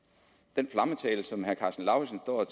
den flammetale som herre karsten lauritzen står og